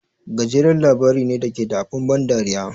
Gajeren labari ne da ke da abin ban dariya.